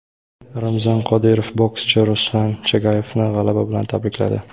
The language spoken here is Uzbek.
Ramzan Qodirov bokschi Ruslan Chagayevni g‘alaba bilan tabrikladi.